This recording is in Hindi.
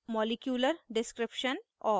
* मॉलिक्यूलर description molecular description और